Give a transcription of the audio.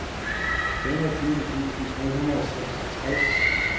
femogtyve tusind tre hundrede og seksogtres